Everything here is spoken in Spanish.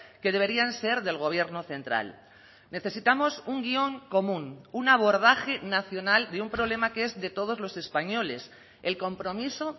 que deberían ser del gobierno central necesitamos un guion común un abordaje nacional de un problema que es de todos los españoles el compromiso